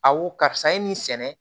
Aw karisa ye nin sɛnɛ